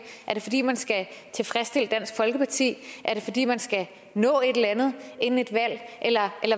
er det fordi man skal tilfredsstille dansk folkeparti er det fordi man skal nå et eller andet inden et valg eller